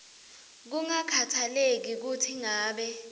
kungakhatsaleki kutsi ngabe